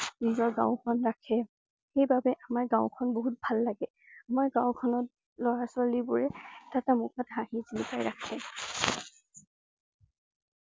নিজৰ গাঁওখন ৰাখে । সেইবাবেই আমাৰ গাঁওখন বহুত ভাল লাগে। আমাৰ গাঁওখনত লৰা ছোৱালী বোৰে এটা হাঁহি মুখত জিলিকাই ৰাখে।